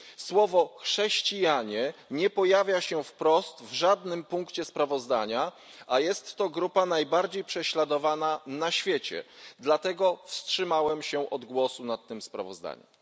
Słowo chrześcijanie nie pojawia się wprost w żadnym punkcie sprawozdania, a jest to grupa najbardziej prześladowana na świecie. Dlatego wstrzymałem się od głosowania nad tym sprawozdaniem.